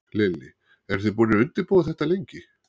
Lillý: Eru þið búnir að undirbúa þetta lengi?